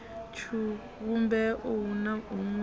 tshivhumbeo hu na huṅwe u